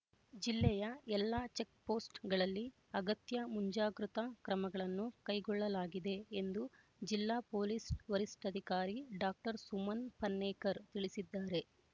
ಜಿಲ್ಲೆಯ ಎಲ್ಲಾ ಚೆಕ್‍ಪೋಸ್ಟ್ ಗಳಲ್ಲಿ ಅಗತ್ಯ ಮುಂಜಾಗೃತಾ ಕ್ರಮಗಳನ್ನು ಕೈಗೊಳ್ಳಲಾಗಿದೆ ಎಂದು ಜಿಲ್ಲಾ ಪೊಲೀಸ್ ವರಿಷ್ಠಾಧಿಕಾರಿ ಡಾಕ್ಟರ್ ಸುಮನ್ ಪನ್ನೇಕರ್ ತಿಳಿಸಿದ್ದಾರೆ